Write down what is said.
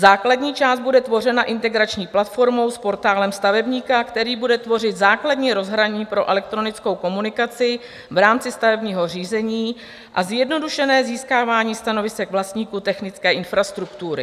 Základní část bude tvořena integrační platformou s Portálem stavebníka, který bude tvořit základní rozhraní pro elektronickou komunikaci v rámci stavebního řízení a zjednodušené získávání stanovisek vlastníků technické infrastruktury.